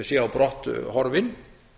sé á brott horfinn